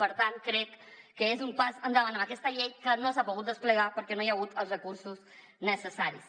per tant crec que és un pas endavant en aquesta llei que no s’ha pogut desplegar perquè no hi ha hagut els recursos necessaris